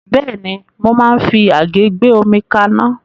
Bẹ́ẹ̀ni, mo máa ń fi àgé gbé omi kaná.